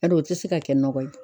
Bari o tɛ se ka kɛ nɔgɔ ye.